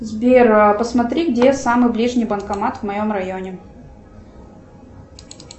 сбер посмотри где самый ближний банкомат в моем районе